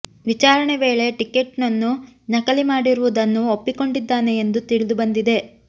ವಿಚಾರಣೆ ವೇಳೆ ಟಿಕೆಟ್ನ್ನು ನಕಲಿ ಮಾಡಿರುವುದನ್ನು ಒಪ್ಪಿಕೊಂಡಿದ್ದಾನೆ ಎಂದು ತಿಳಿದು ಬಂದಿದೆ